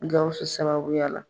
Gawusu sababuya la